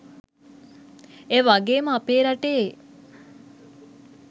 ඒවගේම අපේ රටේ